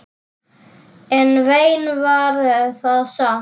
En vein var það samt.